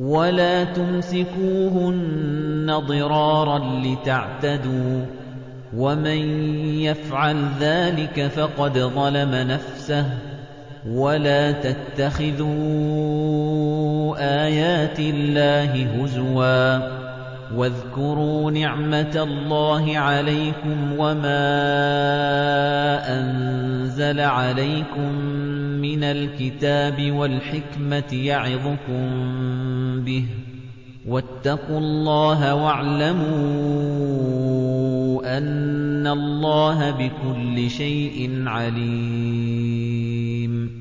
وَلَا تُمْسِكُوهُنَّ ضِرَارًا لِّتَعْتَدُوا ۚ وَمَن يَفْعَلْ ذَٰلِكَ فَقَدْ ظَلَمَ نَفْسَهُ ۚ وَلَا تَتَّخِذُوا آيَاتِ اللَّهِ هُزُوًا ۚ وَاذْكُرُوا نِعْمَتَ اللَّهِ عَلَيْكُمْ وَمَا أَنزَلَ عَلَيْكُم مِّنَ الْكِتَابِ وَالْحِكْمَةِ يَعِظُكُم بِهِ ۚ وَاتَّقُوا اللَّهَ وَاعْلَمُوا أَنَّ اللَّهَ بِكُلِّ شَيْءٍ عَلِيمٌ